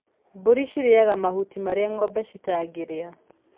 Mbũri cirĩaga mahutia maria ngombe citangĩrĩa.